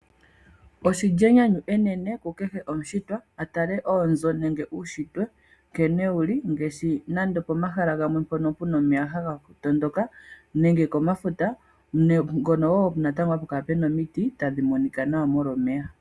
Oshi li enyanyu enene kukehe omushitwa a tale oonzo nenge uunshitwe nkene wu li ngaashi nande opomahala gamwe mpono pu na omeya haga tondoka nenge komafuta ngono wo hapu kala pu na omiti tadhi monika nawa molwa omeya.